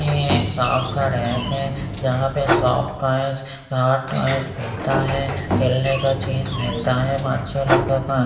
ये एक शॉप का रैक हैं जहाँ पे सॉफ्ट टॉयज हार्ड टॉयज मिलता हैं खेलने का चीज मिलता हैं बच्चे लोगों को--